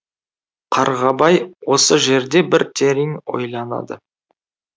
қарғабай осы жерде бір терең ойланады